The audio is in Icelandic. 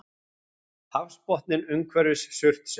Hafsbotninn umhverfis Surtsey.